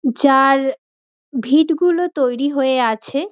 যার ভিত গুলো তৈরি হয়ে আছে।